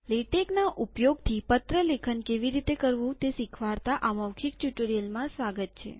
લેટેકના ઉપયોગથી પત્ર લેખન કેવી રીતે કરવું તે શીખવાડતા આ મૌખિક ટ્યુ્ટોરીઅલમાં સ્વાગત છે